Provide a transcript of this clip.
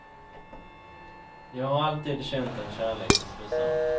Jag har alltid känt en kärlek till slussarna.